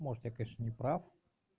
может я конечно неправ